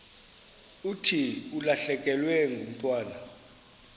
thi ulahlekelwe ngumntwana